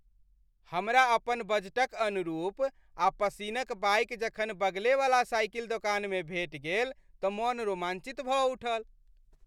हमरा अपन बजटक अनुरूप आ पसिन्न क बाइक जखन बगलेवला साइकिल दोकानमे भेटि गेल तँ मोन रोमांचित भऽ उठल।